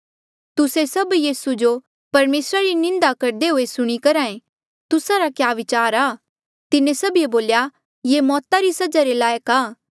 तुस्से सब यीसू जो परमेसरा री निंदा करदे हुए सुणी करहा ऐें तुस्सा रा क्या विचार आ तिन्हें सभिए बोल्या ये मौता री सजा रे लायक आ